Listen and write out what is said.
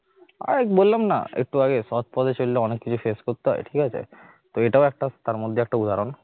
আরে বললাম না একটু আগে সৎ পথে চললে অনেক কিছু face করতে হয় ঠিক আছে এটাও একটা তারমধ্যে একটা উদাহরণ